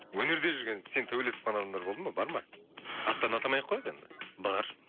өнерде жүрген сен төбелесіп қалған адамдар болды ма бар ма аттарын атамай ақ қояйық енді бар